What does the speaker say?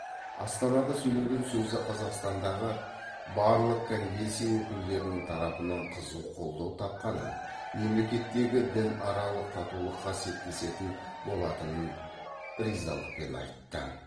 астанада сөйлеген сөзі қазақстандағы барлық конфессия өкілдерінің тарапынан қызу қолдау тапқанын мемлекеттегі дінаралық татулыққа септесетін болатынын ризалықпен айтты